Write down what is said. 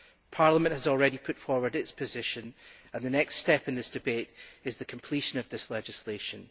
Parliament has already put forward its position and the next step in this debate is the completion of this legislation.